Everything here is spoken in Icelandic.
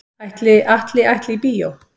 Ætli Atli ætli í bíó?